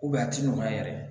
a ti nɔgɔya yɛrɛ